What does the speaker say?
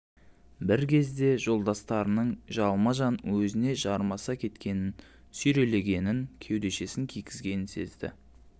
бір кезде жолдастарының жалма-жан өзіне жармаса кеткенін сүйрелегенін кеудешесін кигізгенін сезді